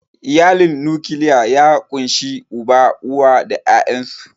Iyalin nukiliya ya ƙunshi Uba, uwa da ƴaƴansu.